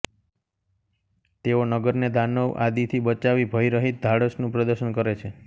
તેઓ નગરને દાનવ આદિથી બચાવી ભયરહીત ધાડસનું પ્રદર્શન કરે છે